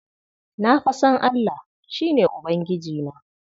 Na fa san Allah, shi ne Ubangijina.